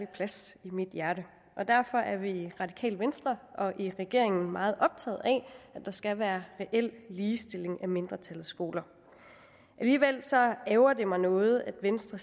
plads i mit hjerte og derfor er vi i radikale venstre og i regeringen meget optaget af at der skal være reel ligestilling af mindretallets skoler alligevel ærgrer det mig noget at venstre